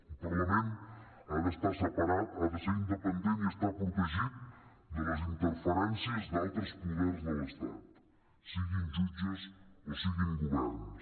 un parlament ha d’estar separat ha de ser independent i estar protegit de les interferències d’altres poders de l’estat siguin jutges o siguin governs